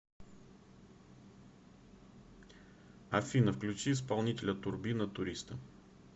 афина включи исполнителя турбина туриста